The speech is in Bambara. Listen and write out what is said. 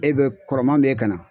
E be kɔrɔman b'e kan na